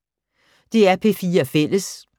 DR P4 Fælles